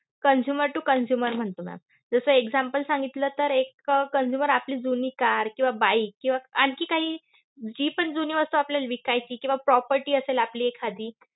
consumer to consumer म्हणतो ma'am. जसं example सांगितलं तर एक consumer आपली जुनी car किंवा bike किंवा आणखी काही जी पण जुनी वस्तू आपल्याला विकायची किंवा property असेल आपली एखादी